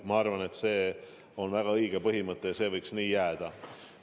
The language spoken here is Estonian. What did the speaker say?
Ma arvan, et see on väga õige põhimõte ja see võiks nii jääda.